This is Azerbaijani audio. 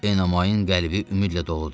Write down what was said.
Eomoyun qəlbi ümidlə doludur.